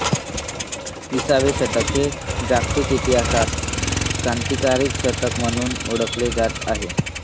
विसावे शतक हे जागतिक इतिहासात क्रांतिकारी शतक म्हणून ओळखले जाणार आहे